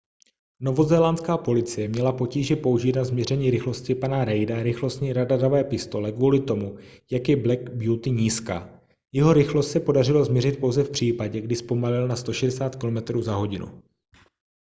novozélandská policie měla potíže použít na změření rychlosti pana reida rychlostní radarové pistole kvůli tomu jak je black beauty nízká. jeho rychlost se podařilo změřit pouze v případě kdy zpomalil na 160km/h